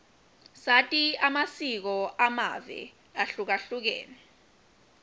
sati amasiko amave ahlukahlukene